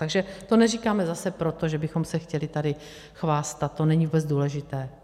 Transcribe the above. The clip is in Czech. Takže to neříkáme zase proto, že bychom se chtěli tady chvástat, to není vůbec důležité.